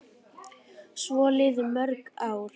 Svo liðu mörg ár.